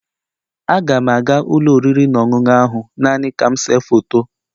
Aga m aga ụlọ oriri na ọṅụṅụ ahụ naanị ka m see foto